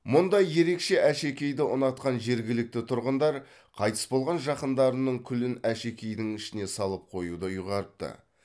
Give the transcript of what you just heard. мұндай ерекше әшекейді ұнатқан жергілікті тұрғындар қайтыс болған жақындарының күлін әшекейдің ішіне салып қоюды ұйғарыпты